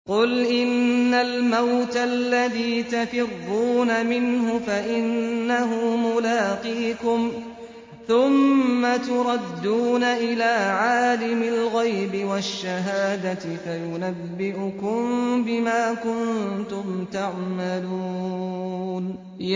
قُلْ إِنَّ الْمَوْتَ الَّذِي تَفِرُّونَ مِنْهُ فَإِنَّهُ مُلَاقِيكُمْ ۖ ثُمَّ تُرَدُّونَ إِلَىٰ عَالِمِ الْغَيْبِ وَالشَّهَادَةِ فَيُنَبِّئُكُم بِمَا كُنتُمْ تَعْمَلُونَ